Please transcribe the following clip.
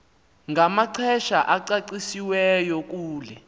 namaxesha acacisiweyo kule